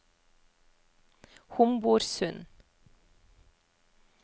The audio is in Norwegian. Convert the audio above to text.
Homborsund